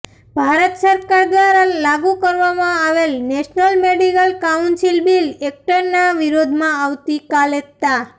ભારત સરકાર દ્વારા લાગુ કરવામાં આવેલ નેશનલ મેડિકલ કાઉન્સિલ બિલ એકટના વિરોધમાં આવતી કાલે તા